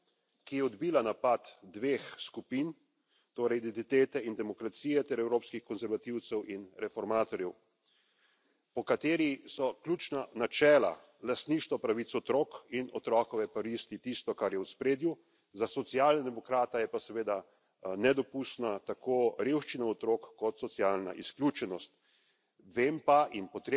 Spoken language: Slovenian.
Gre za močno resolucijo, ki je odbila napad dveh skupin, torej Identitete in demokracije ter Evropskih konservativcev in reformistov, v kateri so ključna načela lastništvo pravic otrok in otrokove koristi, tisto, kar je v ospredju, za socialnega demokrata je pa seveda nedopustna tako revščina otrok kot socialna izključenost.